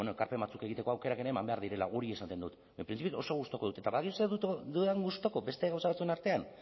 ekarpen batzuk egiteko aukerak ere eman behar direla hori esaten dut printzipioz oso gustuko dut eta badakizu zer dudan gustuko beste gauza batzuen artean